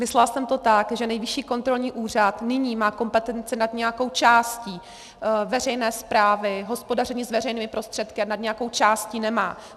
Myslela jsem to tak, že Nejvyšší kontrolní úřad nyní má kompetenci nad nějakou částí veřejné správy, hospodaření s veřejnými prostředky, a nad nějakou částí nemá.